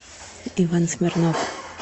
иван смирнов